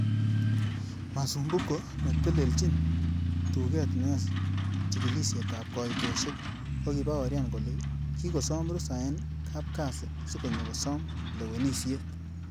Masumbuko, netelelchin tuget neyoe chigilisietab koitosiek, kokibaorian kole kikosom rusa en kapkasi si konyo kosom lewenisiet.